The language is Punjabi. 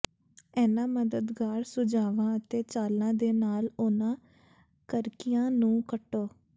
ਇਨ੍ਹਾਂ ਮਦਦਗਾਰ ਸੁਝਾਵਾਂ ਅਤੇ ਚਾਲਾਂ ਦੇ ਨਾਲ ਉਹਨਾਂ ਕਰਕਿਆਂ ਨੂੰ ਕੱਟੋ